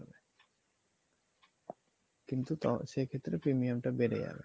কিন্তু সেক্ষেত্রে premium টা বেড়ে যাবে